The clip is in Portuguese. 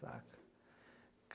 Saca?